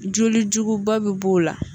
Joli juguba bɛ b'o la